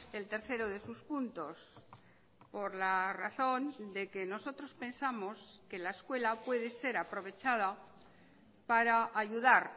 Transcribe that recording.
el tercero de sus puntos por la razón de que nosotros pensamos que la escuela puede ser aprovechada para ayudar